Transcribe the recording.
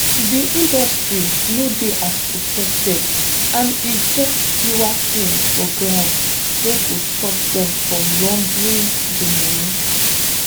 di industry no dey as protected and e get fewer tins for ground wey go stop dem from laundering di money